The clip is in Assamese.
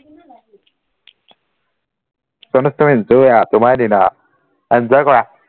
সন্তোষ তোমাৰে দিন আৰু enjoy কৰা